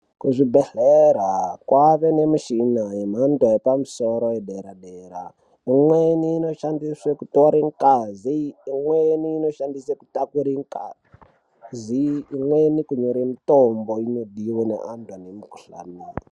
Kuzvibhedhlera kwaane nemishina yemhando yepamusoro yedera-dera. Imweni inoshandiswe kutore ngazi, imweni inoshandiswe kutakure ngazi, imweni kunyore mitombo inodiwa ngeantu ane mikhuhlani .